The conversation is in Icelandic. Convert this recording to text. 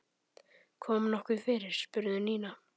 Kom nokkuð fyrir? spurði Nína.